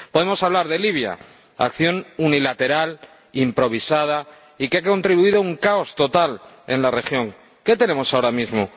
Podemos hablar de Libia acción unilateral, improvisada y que ha contribuido a crear un caos total en la región. ¿Qué tenemos ahora mismo?